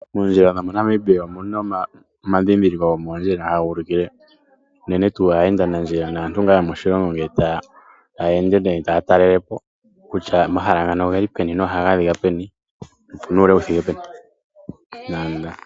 Moondjila dhomoNamibia omu na omadhindhiliko gomoondjila haga ulikile unene tuu aayendanandjila naantu ngaa yomoshilongo uuna taya ende nenge taya talele po kutya omahala gontumba oge li peni nohaga adhika peni nopu na oshinanano shuule wu thike peni.